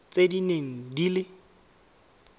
tse di neng di le